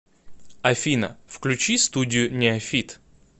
афина включи студию неофит